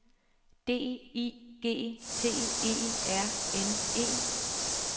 D I G T E R N E